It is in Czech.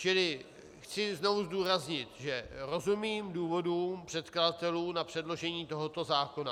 Čili chci znovu zdůraznit, že rozumím důvodům předkladatelů na předložení tohoto zákona.